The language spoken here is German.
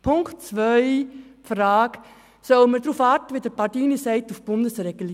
Es stellt sich die Frage, ob man, wie Corrado Pardini sagt, auf die Regelung auf Bundesebene warten soll.